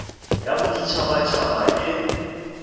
ya bodit habat haba e